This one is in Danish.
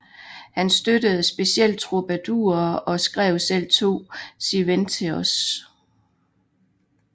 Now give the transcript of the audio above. Han støttede specielt troubadourer og skrev selv to sirventesos